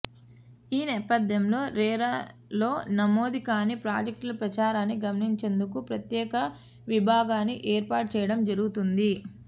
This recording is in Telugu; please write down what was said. ఈ నేపథ్యంలో రెరాలో నమోదు కాని ప్రాజెక్టుల ప్రచారాన్ని గమనించేందుకు ప్రత్యేక విభాగాన్ని ఏర్పాటు చేయడం జరుగుతుంది